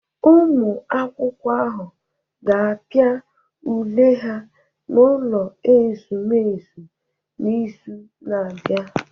Ụmụ akwụkwọ ahụ ga-apịa ule ha n'ụlọ ezumezu n'izu na-abịa